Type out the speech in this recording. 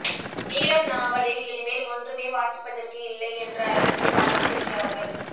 நீலம் நாவலில் இனிமேல் ஒன்றுமே வாசிப்பதற்கு இல்லை என்ற அளவுக்கு வாசித்திருக்கிறார்கள்